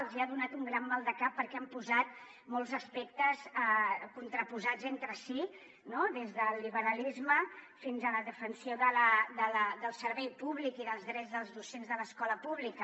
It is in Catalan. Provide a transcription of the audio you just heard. els hi ha donat un gran maldecap perquè han posat molts aspectes contraposats entre si no des del liberalisme fins a la defensa del servei públic i dels drets dels docents de l’escola pública